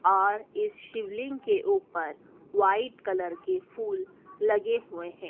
और इस शिवलिंग के ऊपर व्हाइट कलर के फूल लगे हुए हैं।